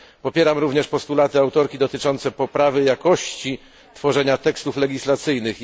Popieram również postulaty autorki dotyczące poprawy jakości tworzenia tekstów legislacyjnych.